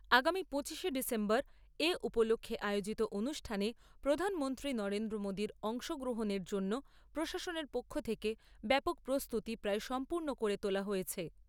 আগামী পঁচিশে ডিসেম্বর এ উপলক্ষে আয়োজিত অনুষ্ঠানে প্রধানমন্ত্রী নরেন্দ্র মোদীর অংশগ্রহণের জন্য প্রশাসনের পক্ষ থেকে ব্যাপক প্রস্তুতি প্রায় সম্পূর্ণ করে তোলা হয়েছে।